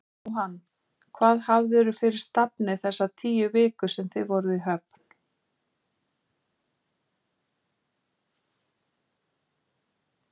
Jóhann: Hvað hafðirðu fyrir stafni þessar tíu vikur sem þið voruð í höfn?